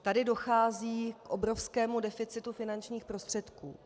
Tady dochází k obrovskému deficitu finančních prostředků.